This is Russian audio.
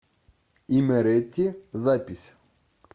имерети запись